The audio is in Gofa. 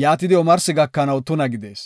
yaatidi omarsi gakanaw tuna gidees.